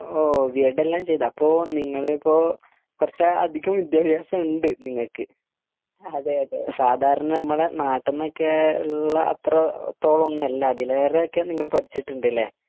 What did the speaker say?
ഓഹ് B Ed എല്ലാം ചെയ്‌ത് അപ്പൊ നിങ്ങളിപ്പൊ കുറച്ച് അധികം വിദ്യഭ്യാസം ഉണ്ട് നിങ്ങക്ക് സാധാരണ നമ്മളെ നാട്ടിനൊക്കെ ഉള്ള അത്രത്തോളം ഒന്നും അല്ല അതിലേറെ ഒക്കെ നിങ്ങൾ പഠിച്ചിട്ട്ണ്ടല്ലേ